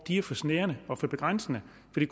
det